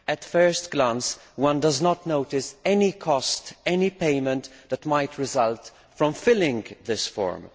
At first glance, one does not notice any cost, any payment that might result from filling in this form.